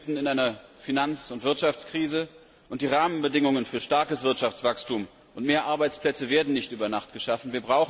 Wir stecken mitten in einer Finanz und Wirtschaftskrise, und die Rahmenbedingungen für ein starkes Wirtschaftswachstum und mehr Arbeitsplätze werden nicht über Nacht geschaffen.